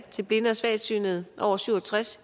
til blinde og svagsynede over syv og tres